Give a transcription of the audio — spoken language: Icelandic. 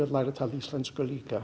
læra að tala íslensku líka